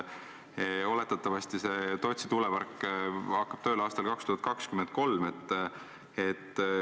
Oletatavasti Tootsi tuulepark hakkab tööle aastal 2023.